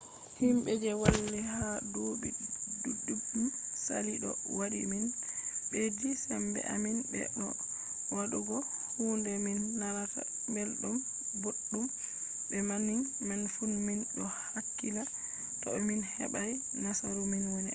himɓe je walli ha duuɓi ɗuɗɗum saali ɗo waɗi min ɓeddi sembe amin be bo waɗugo kuɗe min nanata belɗum boɗɗum. be banning man fu min ɗo hakkila ko to min heɓai nasaru min wo’ina